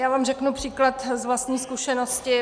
Já vám řeknu příklad z vlastní zkušenosti.